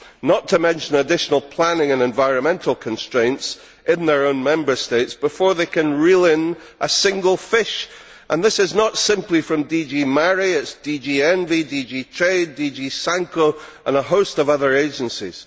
not to mention additional planning and environmental constraints in their own Member States, before they can reel in a single fish, and this is not simply from DG MARE, it is also DG ENVI, DG TRADE, DG CINCO and a host of other agencies.